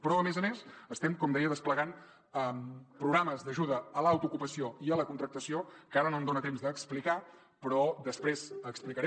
però a més a més estem com deia desplegant programes d’ajuda a l’autoocupació i a la contractació que ara no em dona temps d’explicar però que després explicaré